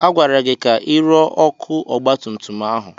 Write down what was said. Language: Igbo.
Agwara gị ka ị rụọ ọkụ ọgbatumtum ahụ!